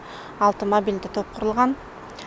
алты мобильді топ құрылған